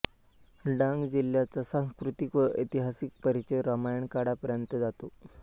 डांग जिल्ह्याचा सांस्कृतिक व ऐतिहासिक परिचय रामायण काळापर्यंत जातो